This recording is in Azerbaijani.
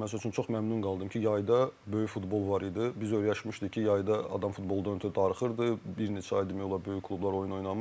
məsəl üçün çox məmnun qaldım ki, yayda böyük futbol var idi, biz öyrəşmişdik ki, yayda adam futboldan ötrü darıxırdı, bir neçə ay demək olar böyük klublar oyun oynamırdı.